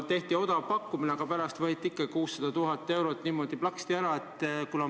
Tehti odav pakkumine, aga pärast võeti ikkagi 600 000 eurot niimoodi plaksti ära.